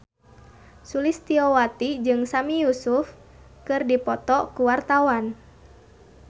Sulistyowati jeung Sami Yusuf keur dipoto ku wartawan